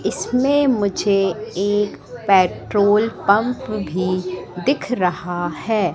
इसमें मुझे एक पेट्रोल पंप भी दिख रहा है।